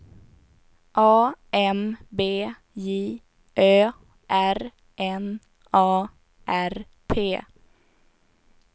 A M B J Ö R N A R P